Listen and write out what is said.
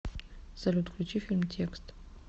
салют включи фильм текст